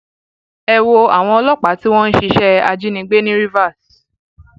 ẹ wo àwọn ọlọpàá tí wọn ń ṣiṣẹ ajínigbé ní rivers